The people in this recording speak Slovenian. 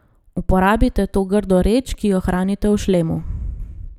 Uporabite to grdo reč, ki jo hranite v šlemu.